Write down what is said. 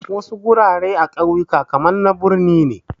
Wasu gurare a wasu kauyuka kaman na birni ne